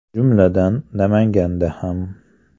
Jumladan, Namanganda ham.